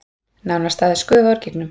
Nánast aðeins gufa úr gígnum